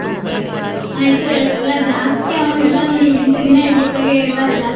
ಹ್ಮ್ ಆಯ್ತ್ ಎಲ್ಲಾ ಜಾಸ್ತಿ ಆಗೋದೆಲ್ಲಾ ನೋಡಿ ಎಂಟ್ ದಿನಾ ಇರ್ಲಿಕ್ಕಾಗೆ, ಎಲ್ಲಾ ಜಾಸ್ತಿ.